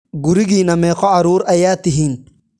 Guriginna meqoo carur ayaa tihin?